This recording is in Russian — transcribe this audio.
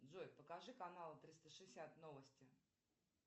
джой покажи каналы триста шестьдесят новости